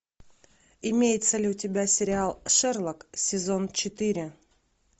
имеется ли у тебя сериал шерлок сезон четыре